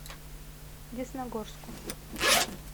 десногорску